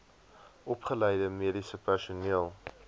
opgeleide mediese personeel